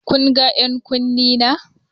Kun ga 'yan kunne na?